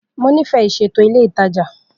Mo nifẹ iṣeto ile itaja.